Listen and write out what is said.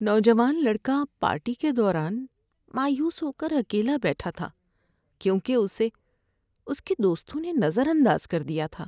نوجوان لڑکا پارٹی کے دوران مایوس ہو کر اکیلا بیٹھا تھا کیونکہ اسے اس کے دوستوں نے نظر انداز کر دیا تھا۔